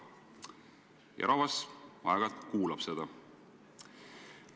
Ja rahvas aeg-ajalt kuulab seda.